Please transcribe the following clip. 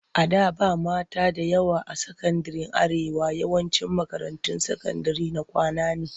A da ba mata da yawa a sakandiren Arewa. yawancin makarantun sakandire na kwana ne.